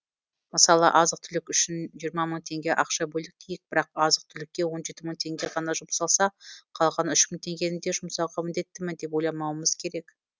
мысалы азық түлік үшін жиырма мың теңге ақша бөлдік дейік бірақ азық түлікке он жеті мың теңге ғана жұмсалса қалған үш мың теңгені де жұмсауға міндеттімін деп ойламауымыз керек